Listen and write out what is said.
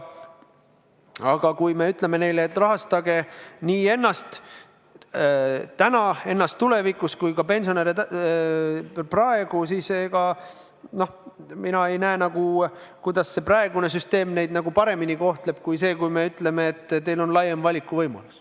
Aga kui me ütleme neile, et rahastage nii ennast täna, ennast tulevikus kui ka pensionäre praegu, siis mina ei näe, kuidas praegune süsteem neid paremini kohtleb kui see, kui me ütleme, et teil on laiem valikuvõimalus.